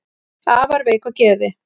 afar veik á geði